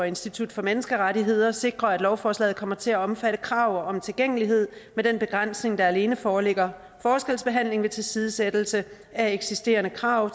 institut for menneskerettigheder sikrer at lovforslaget kommer til at omfatte krav om tilgængelighed med den begrænsning at der alene foreligger forskelsbehandling ved tilsidesættelse af eksisterende krav